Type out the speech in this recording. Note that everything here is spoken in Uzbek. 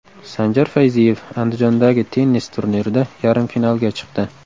Sanjar Fayziyev Andijondagi tennis turnirida yarim finalga chiqdi.